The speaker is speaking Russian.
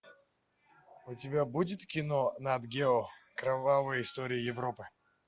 у тебя будет кино нат гео кровавые истории европы